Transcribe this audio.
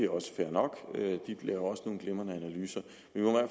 også fair nok de laver nogle glimrende analyser